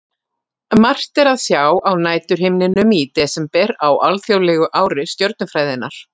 Margt er að sjá á næturhimninum í desember á alþjóðlegu ári stjörnufræðinnar.